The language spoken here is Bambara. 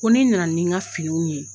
Ko nin nana nin n ka finiw ye.